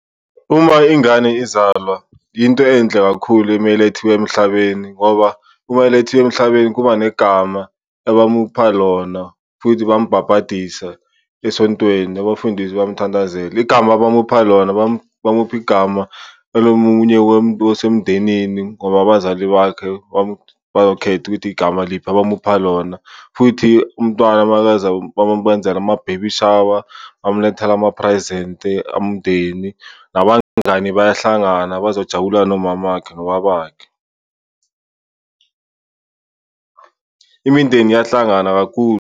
Uma ingane izalwa yinto enhle kakhulu meyilethiwe emhlabeni ngoba uma ilethiwe emhlabeni kuba negama ebamupha lona futhi bambhabhadisa esontweni, abafundisi bayamthandazela. Igama bamupha lona, bamupha igama elomunye wasemndenini ngoba abazali bakhe bayokhetha ukuthi igama liphi abamupha lona. Futhi umntwana makaza, bamamenzela ama-baby shower bamulethela ama-present-i umndeni, nabangani bayahlangana bazojabula nomamakhe nobabakhe. Imindeni iyahlangana kakhulu.